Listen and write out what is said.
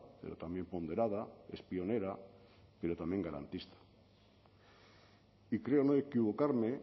pero también ponderada es pionera pero también garantista y creo no equivocarme